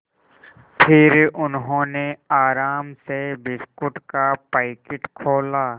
फिर उन्होंने आराम से बिस्कुट का पैकेट खोला